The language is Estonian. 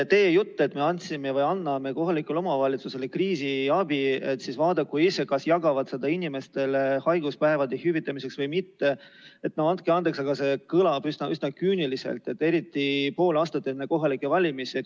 Teie jutt, et anname kohalikule omavalitsusele kriisiabi ja nad vaadaku ise, kas jagavad seda inimestele haiguspäevade hüvitamiseks või mitte – no andke andeks, aga see kõlab üsna küüniliselt, eriti pool aastat enne kohalikke valimisi.